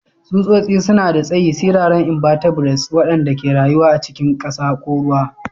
Tsutsotsi suna da tsayi, siraran inbatebrates waɗanda ke rayuwa a cikin ƙasa ko ruwa.